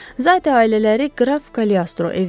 Zat ailələri Qraf Kalestro evdədir?